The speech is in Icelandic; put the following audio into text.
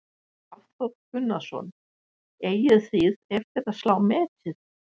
Hafþór Gunnarsson: Eigið þið eftir að slá metið?